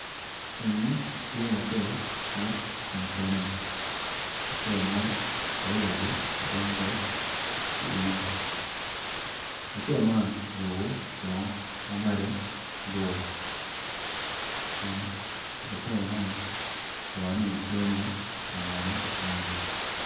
Eni tye laco ma ocung kene , awobi eni kono tye ma oruko long ma bule en kono tye ma oruko gin blue i cinge en kono tye ka dongo kun laco man bongone tye ma ongolo ngolo.